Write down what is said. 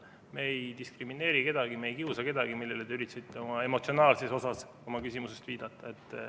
Me ei diskrimineeri kedagi, me ei kiusa kedagi, millele te üritasite oma küsimuse emotsionaalses osas viidata.